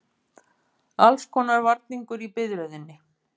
Allskonar varningur í biðröðinni.